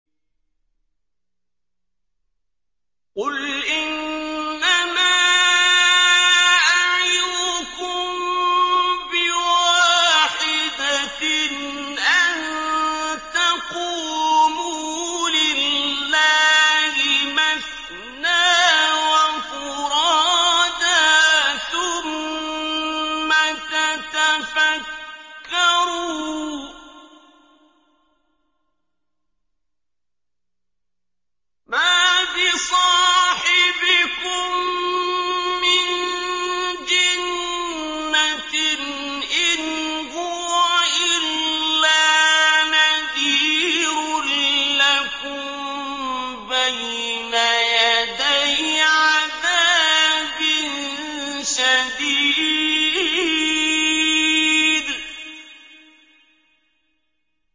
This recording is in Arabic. ۞ قُلْ إِنَّمَا أَعِظُكُم بِوَاحِدَةٍ ۖ أَن تَقُومُوا لِلَّهِ مَثْنَىٰ وَفُرَادَىٰ ثُمَّ تَتَفَكَّرُوا ۚ مَا بِصَاحِبِكُم مِّن جِنَّةٍ ۚ إِنْ هُوَ إِلَّا نَذِيرٌ لَّكُم بَيْنَ يَدَيْ عَذَابٍ شَدِيدٍ